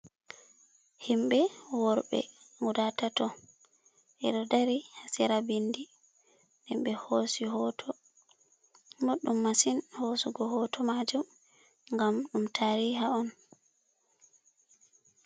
Himɓe worɓe guda tato, ɓeɗo dari ha sera bindi den be hosi hoto. Ɓoɗɗum masin hosugo hoto majum ngam ɗum tari ha on.